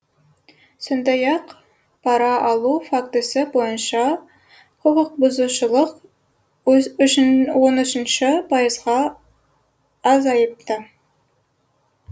сондай ақ пара алу фактісі бойынша құқықбұзушылық он үшінші пайызға азайыпты